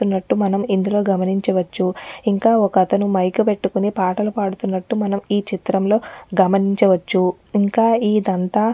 నట్టు మనం ఇందులో గమనించవచ్చు ఇంకా ఒక్కాతను మైక్ పెట్టుకొని పాటలు పాడుతున్నటు మనం ఈ చిత్రంలో గమనించవచ్చు ఇంకా ఈ దంతా --